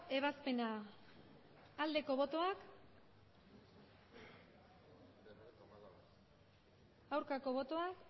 ebazpena aldeko botoak aurkako botoak